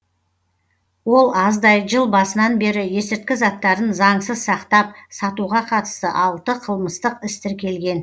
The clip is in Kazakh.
ол аздай жыл басынан бері есірткі заттарын заңсыз сақтап сатуға қатысты алты қылмыстық іс тіркелген